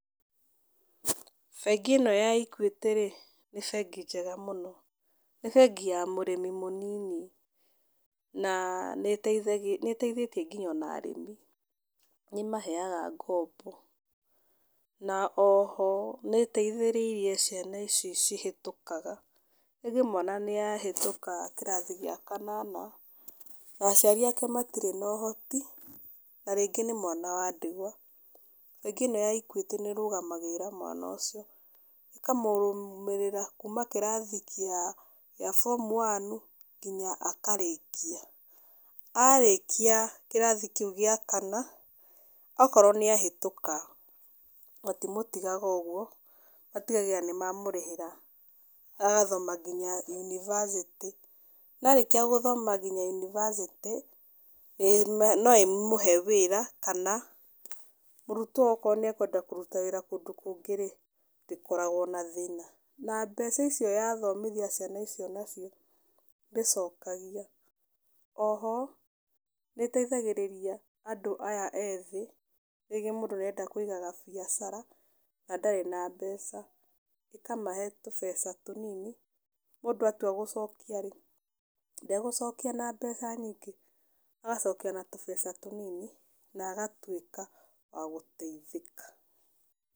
Bengi ĩno ya Equity-rĩ nĩ bengi njega mũno, nĩ bengi ya mũrĩmi mũnini, na nĩĩteithĩtie nginya ona arĩmi nĩĩmaheaga ngombo, na oho nĩĩteithĩrĩire ciana ici cihĩtũkaga, rĩngĩ mwana nĩahĩtũka kĩrathi gĩa kanana, na aciari ake matirĩ na ũhoti na rĩngĩ nĩ mwana wa ndigwa, bengi ĩno ya Equity nĩĩrũgamagĩrĩra mwana ũcio, ĩkamũrũmĩrĩra kuma kĩrathi gĩa form u wanu nginya akarĩkia. Arĩkia kĩrathi kĩu gĩa kana okorwo nĩahĩtuka, matimũtigaga ũguo, matigagĩrĩra nĩmamũrĩhĩra agathoma nginya yunibacĩtĩ na arĩkia gũthoma kinya yunibacĩtĩ, no ĩmũhe wĩra kana mũrutwo ũyũ okorwo nĩekwenda kũruta wĩra kũndũ kũngĩ-rĩ, ndĩkoragwo na thĩna. Na, mbeca icio yathomithia ciana icio nacio ndĩcokagia. Oho, nĩĩteithagĩrĩria andũ aya ethĩ, rĩngĩ mũndũ nĩarenda kũiga gabiacara na ndarĩ na mbeca, ĩkamahe tũbeca tũnini, mũndũ atua gũcokia-rĩ ndegũcokia na mbeca nyingĩ, agacokia na tũbeca tũnini na agatuĩka wa gũteithĩka.